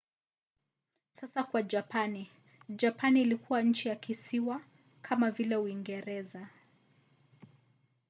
sasa kwa japani. japani ilikuwa nchi ya kisiwa kama vile uingereza